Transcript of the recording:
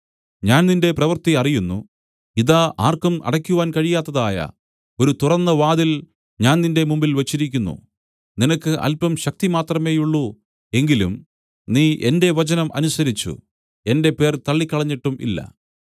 ഞാൻ നിന്റെ പ്രവൃത്തി അറിയുന്നു ഇതാ ആർക്കും അടയ്ക്കുവാൻ കഴിയാത്തതായ ഒരു തുറന്ന വാതിൽ ഞാൻ നിന്റെ മുമ്പിൽ വെച്ചിരിക്കുന്നു നിനക്ക് അല്പം ശക്തി മാത്രമേയുള്ളൂ എങ്കിലും നീ എന്റെ വചനം അനുസരിച്ചു എന്റെ പേർ തള്ളികളഞ്ഞിട്ടും ഇല്ല